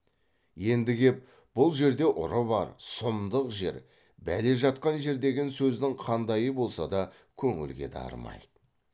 енді кеп бұл жерде ұры бар сұмдық жер бәле жатқан жер деген сөздің қандайы болса да көңілге дарымайды